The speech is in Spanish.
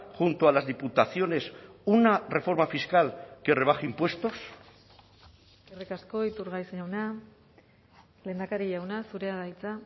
junto a las diputaciones una reforma fiscal que rebaje impuestos eskerrik asko iturgaiz jauna lehendakari jauna zurea da hitza